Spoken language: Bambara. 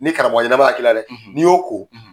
Ni karamɔgɔ ɲɛnama ka k'i la dɛ n'i y'o ko